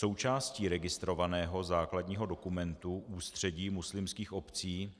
Součástí registrovaného základního dokumentu Ústředí muslimských obcí